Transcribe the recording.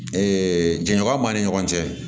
jɛnɲɔgɔn b'a ni ɲɔgɔn cɛ